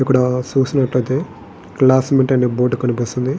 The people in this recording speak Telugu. ఇక్కడ చూసినట్టుయితే క్లాసుమేట్ అనే బోర్డు కనిపిస్తోంది.